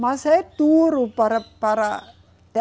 Mas é duro, para, para